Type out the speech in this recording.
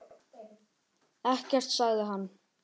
Ekkert, sagði hann.